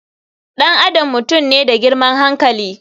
Ɗan adam mutum ne da girman hankali.